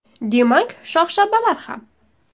Demak, shox-shabbalar ham.